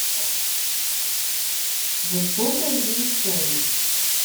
жестокое завещание